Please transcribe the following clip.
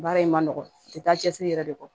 Baara in ma nɔgɔn a tɛ taa cɛsiri yɛrɛ de kɔ